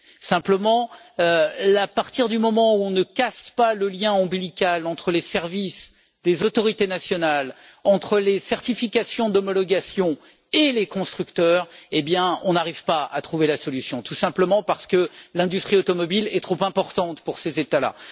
Simplement, à partir du moment où l'on ne casse pas le lien ombilical entre les services des autorités nationales, entre les certifications d'homologation et les constructeurs, on n'arrive pas à trouver la solution parce que, tout simplement, l'industrie automobile est trop importante pour ces États là.